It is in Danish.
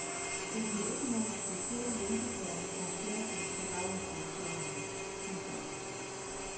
Der bliver ikke nogen speciel hjælpeplan fra staten for daginstitutionerne. punktum